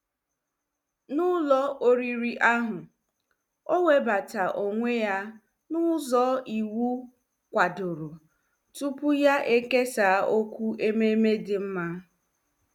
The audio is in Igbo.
N'ụlọ oriri ahụ, o webata onwe ya n'ụzọ iwu kwadoro tupu ya ekesaa okwu ememe dị mma.